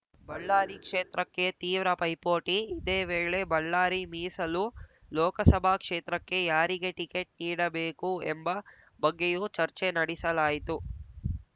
ಬಳ್ಳಾರಿ ಕ್ಷೇತ್ರಕ್ಕೆ ತೀವ್ರ ಪೈಪೋಟಿ ಇದೇ ವೇಳೆ ಬಳ್ಳಾರಿ ಮೀಸಲು ಲೋಕಸಭಾ ಕ್ಷೇತ್ರಕ್ಕೆ ಯಾರಿಗೆ ಟಿಕೆಟ್‌ ನೀಡಬೇಕು ಎಂಬ ಬಗ್ಗೆಯೂ ಚರ್ಚೆ ನಡೆಸಲಾಯಿತು